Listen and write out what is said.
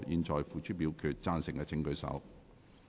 贊成的請舉手。